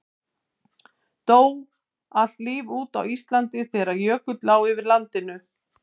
Dó allt líf út á Íslandi þegar jökull lá yfir landinu?